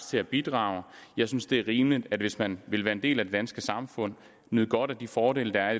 til at bidrage jeg synes det er rimeligt at man hvis man vil være del af det danske samfund og nyde godt af de fordele der er